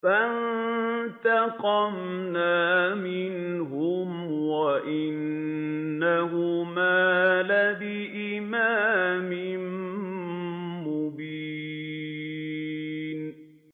فَانتَقَمْنَا مِنْهُمْ وَإِنَّهُمَا لَبِإِمَامٍ مُّبِينٍ